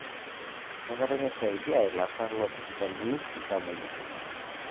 Kenare nisaidia ilaasak loosipitalini iltamuoyia